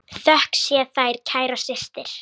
Þökk sé þér, kæra systir.